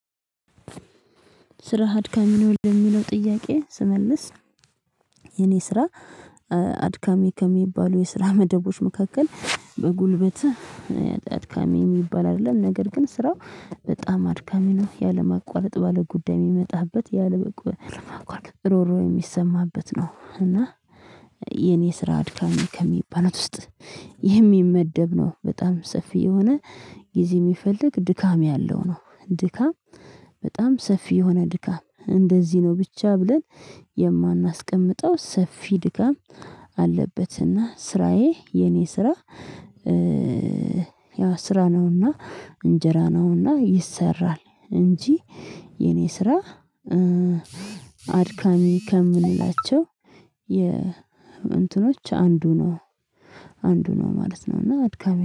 ስራህ አድካሚ ነው የሚለው ጥያቄ ስመልስ። የኔ ስራ አድካሚ ከሚባሉ የስራ መደቦች መካከል በጉልበትህ አድካሚ የሚባል አይደለም ነገር ግን ስራው በጣም አድካሚ ነው። ያለ ማቋረጥ ባለ ጉዳይ የሚመጣበት ያለ ማቋረጥ ሮሮ የሚሰማበት ነው። እና የኔ ስራ አድካሚ ከሚባሉት ውስጥ የሚመደብ ነው በጣም ሰፊ የሆነ ጊዜ የሚፈልግ ድካም ያለው ነው። ድካም በጣም ሰፊ የሆነ ድካም እንደዚህ ነው ብቻ ብለን የማናስቀምጠው ሰፊ ድካም ኣለበት። እና ስራዬ የኔ ስራ ያው ስራ ነውና እንጀራ ነውና ይሰራል እንጂ። የኔ ስራ አድካሚ ከምንላቸው የእንትኖች አንዱ ነው አንዱ ነው ማለት ነው። እና አድካሚ